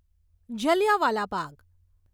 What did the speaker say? Jallianwala Bagh